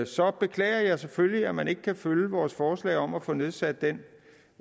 så beklager jeg selvfølgelig at man ikke kan følge vores forslag om at få nedsat den